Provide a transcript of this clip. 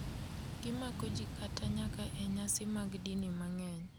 Gimako jii kata nyaka e nyasi mag dini mang’eny,